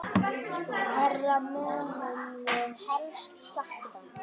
Hverra munum við helst sakna?